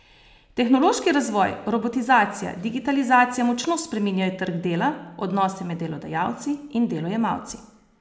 Tehnološki razvoj, robotizacija, digitalizacija močno spreminjajo trg dela, odnose med delodajalci in delojemalci.